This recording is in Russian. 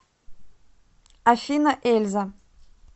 афина эльза